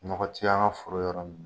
Nɔkɔ ti an ka foro yɔrɔ min